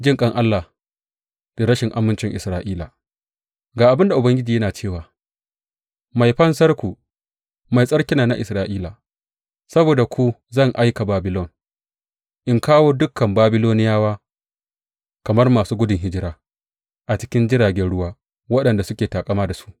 Jinƙan Allah da rashin amincin Isra’ila Ga abin da Ubangiji yana cewa, Mai Fansarku, Mai Tsarkin nan na Isra’ila, Saboda ku zan aika Babilon in kawo dukan Babiloniyawa kamar masu gudun hijira, a cikin jiragen ruwa waɗanda suke taƙama da su.